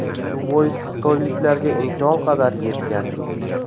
Shu bois, xitoyliklarga imkon qadar yetkazdik.